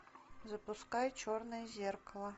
запускай черное зеркало